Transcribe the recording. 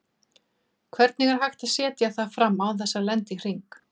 Hvernig er hægt að setja það fram án þess að lenda í hring?